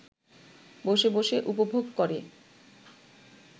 বসে বসে উপভোগ করে